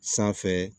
Sanfɛ